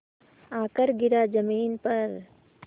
आकर गिरा ज़मीन पर